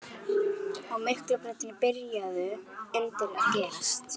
Á Miklubrautinni byrjuðu undrin að gerast.